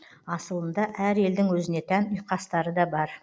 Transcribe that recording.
асылында әр елдің өзіне тән ұйқастары да бар